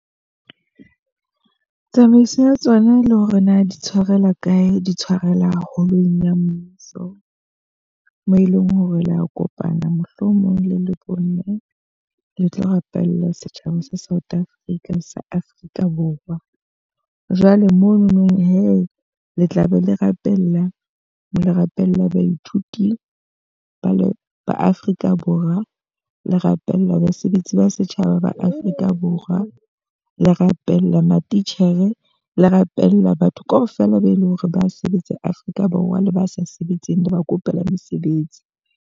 Tsamaiso ya tsona le hore na di tshwarelwa kae, di tshwarela ka holong ya mmuso. Moo e leng hore le a kopana mohlomong le le bo mme. Le tlo rapella setjhaba sa South Africa, sa Afrika Borwa. Jwale mono nong he le tla be le rapella, le rapella baithuti ba le ba Afrika Borwa. Le rapella basebetsi ba setjhaba ba Afrika Borwa. Le rapella matitjhere, le rapella batho ka ofela be eleng hore ha ba sebetse Afrika Borwa. Le ba sa sebetseng le ba kopela mesebetsi.